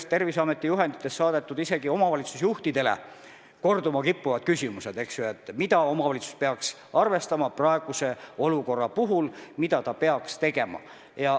Ka Terviseameti juhendites on omavalitsuste juhtidele saadetud korduma kippuvad küsimused selle kohta, mida omavalitsus peaks praeguses olukorras arvestama, mida ta peaks tegema.